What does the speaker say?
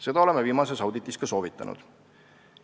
Seda oleme viimases auditis ka soovitanud.